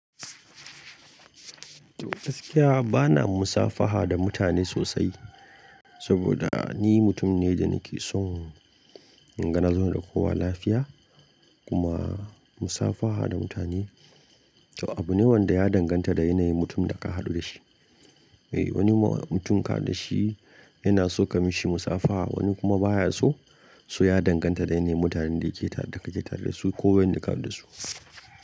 Gaskiya bana musafaha da mutane sosai, saboda ni mutum ne da nake son inga nazo da kowa lafiya kuma musafaha da mutane. To abu ne wanda ya danganta da yanayin mutumin da ka haɗu da shi. Eh wani mutum ka haɗu da shi yana so ka mishi musafaha, wani kuma baya so. So ya danganta da yanayin mutanen da yake ta da kake tare da su ko wayanda ka haɗu da su.